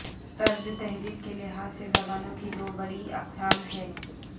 طرز تحریر کے لحاظ سے زبانوں کی دوبڑی اقسام ہیں